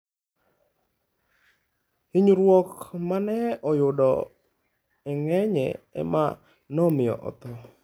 Hinyruok ma ne oyudo e nge'ye ema nomiyo otho.